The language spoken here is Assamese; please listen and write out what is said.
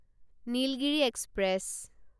নীলগিৰি এক্সপ্ৰেছ